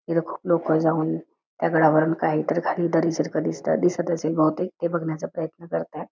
इथ खूप लोक जाऊन दगडावरून काहीतर खाली दरी सारखं दिसत दिसत असेल बहुतेक ते बघण्याचा प्रयत्न करत आहेत.